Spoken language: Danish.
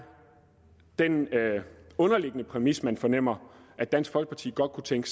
den underliggende præmis man fornemmer at dansk folkeparti godt kunne tænke